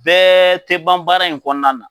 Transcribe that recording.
Bɛɛ tɛ ban baara in kɔnɔna na.